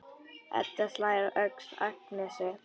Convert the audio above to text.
Edda slær á öxl Agnesi.